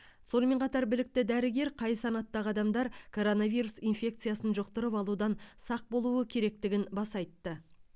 сонымен қатар білікті дәрігер қай санаттағы адамдар коронавирус инфекциясын жұқтырып алудан сақ болуы керектігін баса айтты